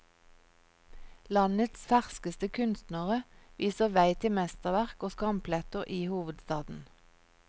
Landets ferskeste kunstnere viser vei til mesterverk og skampletter i hovedstaden.